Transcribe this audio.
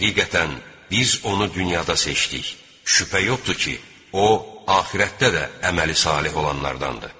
Həqiqətən biz onu dünyada seçdik, şübhə yoxdur ki, o axirətdə də əməli saleh olanlardandır.